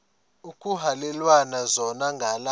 ekuhhalelwana zona ngala